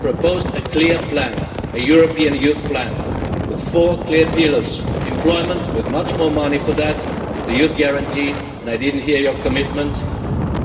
proposed a clear plan, a European youth plan, with four clear pillars employment with much more money for that for the Youth Guarantee and I did not hear your commitment